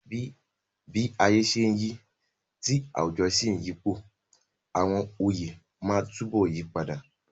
Bí ayé ṣe ń yí, tí àwùjọ sì ń yípo, àwọn oyè máa túbọ̀ yí padà.